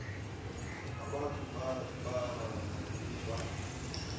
abantu barana kuba